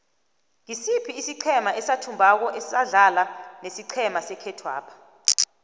ngisiphi isiqhema esathumbako asidlala nesiqhema sekhethwapha